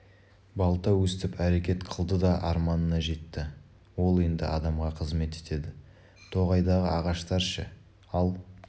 балта өстіп әрекет қылды да арманына жетті ол енді адамға қызмет етеді тоғайдағы ағаштар ше ал